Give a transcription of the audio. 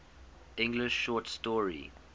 english short story